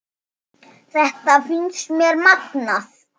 Þetta finnst mér magnað.